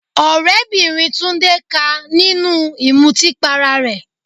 Ọ̀rẹ́bìnrin Tunde ká a nínú ìmutí para rẹ̀.